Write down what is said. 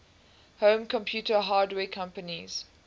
home computer hardware companies